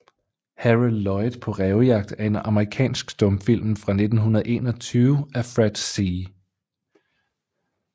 Harold Lloyd paa Rævejagt er en amerikansk stumfilm fra 1921 af Fred C